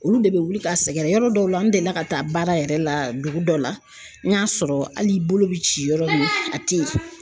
Olu de bɛ wuli ka sɛgɛrɛ yɔrɔ dɔw la n delila ka taa baara yɛrɛ la dugu dɔ la n y'a sɔrɔ hali bolo bi ci yɔrɔ min a tɛ yen.